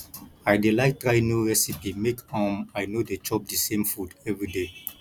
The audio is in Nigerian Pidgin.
i dey like try new recipe make um i no dey chop di same food everyday